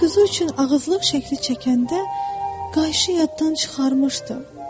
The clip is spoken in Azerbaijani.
Mən quzu üçün ağızlıq şəkli çəkəndə qayçı yaddan çıxarmışdım.